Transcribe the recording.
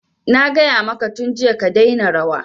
Na gaya maka tun jiya ka daina rawa!